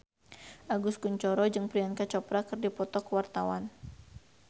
Agus Kuncoro jeung Priyanka Chopra keur dipoto ku wartawan